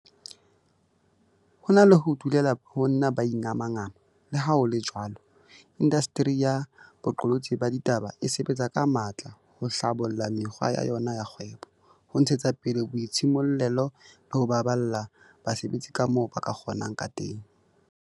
Ho na le ho dulela ho nna ba ingamangama, leha ho le jwalo, indasteri ya boqolotsi ba ditaba e sebetsa ka matla ho hlabolla mekgwa ya yona ya kgwebo, ho ntshetsa pele boitshimollelo le ho baballa basebetsi kamoo ba ka kgo nang ka teng.